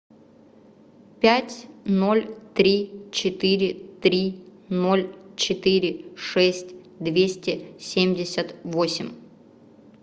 пять ноль три четыре три ноль четыре шесть двести семьдесят восемь